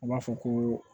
U b'a fɔ ko